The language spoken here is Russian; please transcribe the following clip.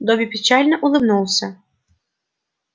добби печально улыбнулся